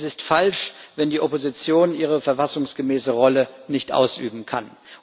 Es ist falsch, wenn die Opposition ihre verfassungsgemäße Rolle nicht ausüben kann.